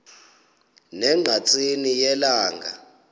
ne ngqatsini yelanga